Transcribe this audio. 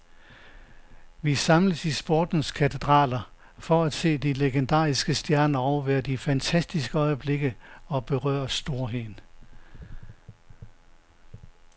Vi samles i sportens katedraler for at se de legendariske stjerner, overvære de fantastiske øjeblikke og berøre storheden.